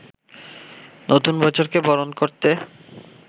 নতুন বছরকে বরণ করতে